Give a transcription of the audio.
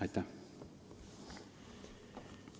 Aitäh!